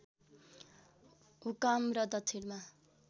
हुकाम र दक्षिणमा